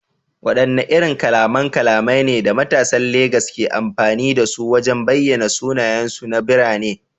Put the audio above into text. Wadanne irin kalaman kalamai ne da matasan Legas ke amfani da su wajen bayyana sunayensu na birane?